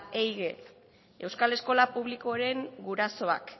ehige euskal eskola publikoren gurasoak